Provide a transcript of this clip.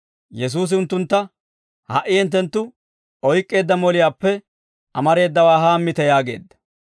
Yesuusi unttuntta, «Ha"i hinttenttu oyk'k'eedda moliyaappe amareedawaa haammite» yaageedda.